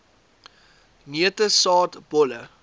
neute saad bolle